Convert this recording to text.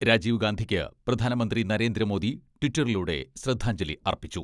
രാജീവ്ഗാന്ധിക്ക് പ്രധാനമന്ത്രി നരേന്ദ്രമോദി ട്വിറ്ററിലൂടെ ശ്രദ്ധാഞ്ജലി അർപ്പിച്ചു.